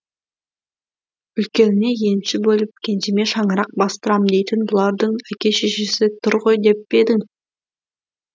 үлкеніне енші бөліп кенжеме шаңырақ бастырам дейтін бұлардың әке шешесі тұр ғой деппе едің